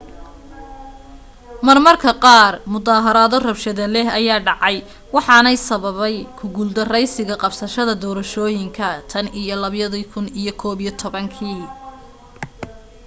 marmarka qaar mudaharaado rabshado leh ayaa dhacay waxaana sababay ku guuldaraysiga qabashada doorashooyinka tan iyo 2011kii